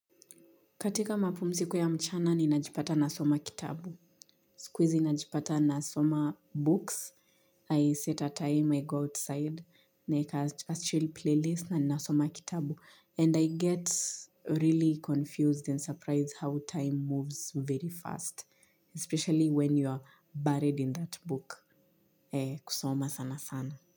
Katika mapumziko ya mchana ni najipata nasoma kitabu. Siku hizi najipata nasoma books. I set a time, I go outside. Naeka a chill playlist na ninasoma kitabu. And I get really confused and surprised how time moves very fast. Especially when you are buried in that book. Kusoma sana sana.